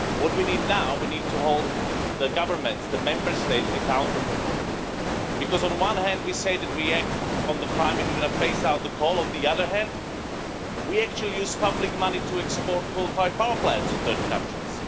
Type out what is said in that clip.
What we need now is to hold the governments the Member States accountable, because on one hand, we say that we act on the climate, we're going to phase out coal, and on the other hand, we actually use public money to export coal fired power plants to third countries.